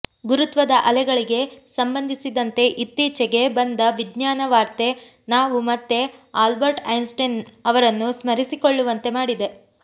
ಗುರುತ್ವದ ಅಲೆಗಳಿಗೆ ಸಂಬಂಧಿಸಿದಂತೆ ಇತ್ತೀಚೆಗೆ ಬಂದ ವಿಜ್ಞಾನ ವಾರ್ತೆ ನಾವು ಮತ್ತೆ ಆಲ್ಬರ್ಟ್ ಐನ್ಸ್ಟೈನ್ ಅವರನ್ನು ಸ್ಮರಿಸಿಕೊಳ್ಳುವಂತೆ ಮಾಡಿದೆ